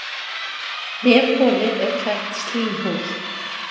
Nefholið er klætt slímhúð.